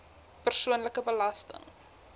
persoonlike belasting